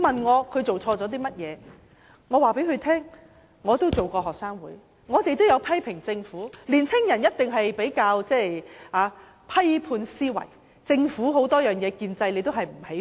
我告訴他們，我也曾參加學生會，也曾批評政府，十七八歲的青年人一定有批判思維，不喜歡政府建制。